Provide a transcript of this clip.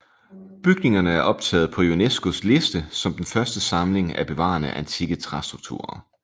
Bygningerne er optaget på UNESCOs liste som den største samling af bevarede antikke træstrukturer